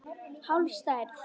Hálf stærð.